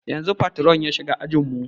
Yanzun patron ya shiga ajin mu